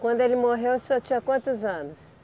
Quando ele morreu, o senhor tinha quantos anos?